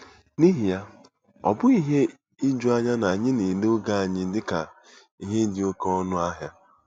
N'ihi ya, ọ bụghị ihe ijuanya na anyị na-ele oge anya dị ka ihe dị oké ọnụ ahịa.